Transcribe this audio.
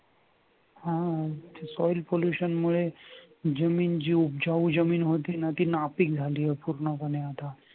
हा soil pollution मुळे जमीनजीवजी जमीन होती ना ती नापीक झाली आहे.